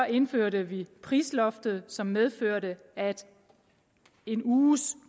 indførte vi prisloftet som medførte at en uges